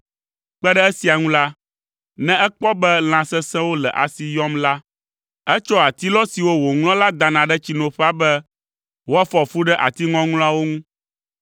Kpe ɖe esia ŋu la, ne ekpɔ be lã sesẽwo le asi yɔm la, etsɔa atilɔ siwo wòŋlɔ la dana ɖe tsinoƒea be woafɔ fu ɖe ati ŋɔŋlɔawo ŋu.